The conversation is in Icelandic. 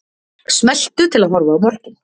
Smelltu til að horfa á mörkin